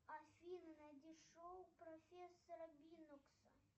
афина найди шоу профессора бинокса